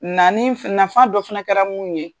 Nani naf nafa dɔ fana kɛra mun ye